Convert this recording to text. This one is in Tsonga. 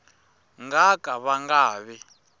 nga ka va nga vi